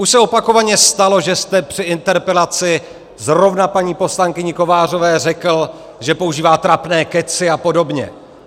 Už se opakovaně stalo, že jste při interpelaci zrovna paní poslankyni Kovářové řekl, že používá trapné kecy a podobně.